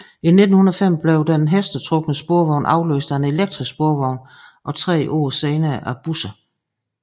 I 1905 blev den hestetrukne sporvogn afløst af elektrisk sporvogn og tre år senere af busser